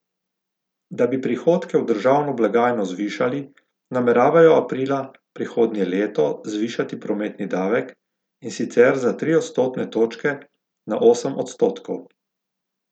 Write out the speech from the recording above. Da bi prihodke v državno blagajno zvišali, nameravajo aprila prihodnje leto zvišati prometni davek, in sicer za tri odstotne točke na osem odstotkov.